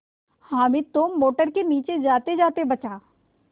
हामिद तो मोटर के नीचे जातेजाते बचा